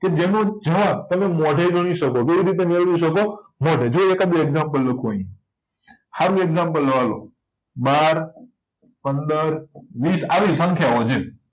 કે જેનો જ મોઢે મેળવી શકો કેવીરીતે મેળવી શકો મોઢે જો એકાધુ એગ્જામ્પલ લખું આય એગ્જામ્પલ લવ હાલો બાર પંદર વીસ આવી સંખ્યાઓ છે